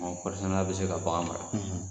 Kɔɔrisɛnna bɛ se ka bagan mara.